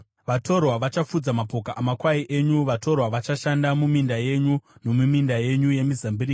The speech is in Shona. Vatorwa vachafudza mapoka amakwai enyu; vatorwa vachashanda muminda yenyu nomuminda yenyu yemizambiringa.